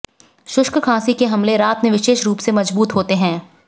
शुष्क खांसी के हमले रात में विशेष रूप से मजबूत होते हैं